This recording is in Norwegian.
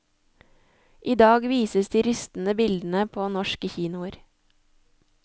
I dag vises de rystende bildene på norske kinoer.